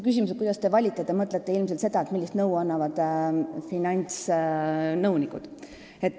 Küsimusega, kuidas me valime, te mõtlete ilmselt seda, millist nõu annavad finantsnõunikud.